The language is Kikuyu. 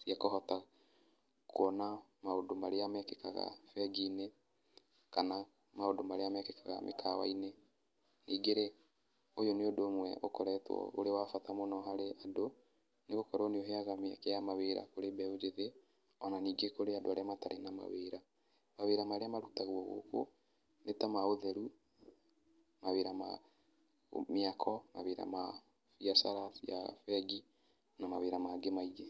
cia kũhota kuona maũndũ marĩa mekĩkaga bengi-inĩ kana maũndũ marĩa mekĩkaga mĩkawa-inĩ. Ningĩ-rĩ, ũyũ nĩ ũndũ ũmwe ũkoretwo ũrĩ wa bata mũno harĩ andũ, nĩgũkorwo nĩũheaga mĩeke ya mawĩra kũrĩ mbeũ njĩthĩ ona ningĩ kũrĩ andũ arĩa matarĩ na mawĩra. Mawĩra marĩa marutagwo gũkũ nĩ ta ma ũtheru, mawĩra ma mĩako, mawĩra ma biacara cia bengi na mawĩra mangĩ maingĩ.